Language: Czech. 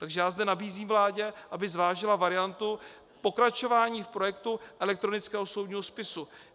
Takže já zde nabízím vládě, aby zvážila variantu pokračování v projektu elektronického soudního spisu.